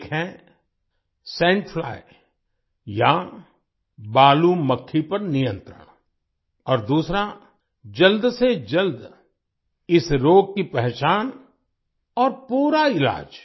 एक है sand fly या बालू मक्खी पर नियंत्रण और दूसरा जल्द से जल्द इस रोग की पहचान और पूरा इलाज